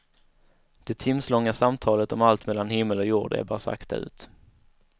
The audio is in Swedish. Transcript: Det timslånga samtalet, om allt mellan himmel och jord, ebbar sakta ut.